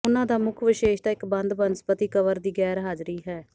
ਉਹਨਾਂ ਦਾ ਮੁੱਖ ਵਿਸ਼ੇਸ਼ਤਾ ਇਕ ਬੰਦ ਬਨਸਪਤੀ ਕਵਰ ਦੀ ਗੈਰਹਾਜ਼ਰੀ ਹੈ